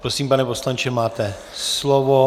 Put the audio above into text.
Prosím, pane poslanče, máte slovo.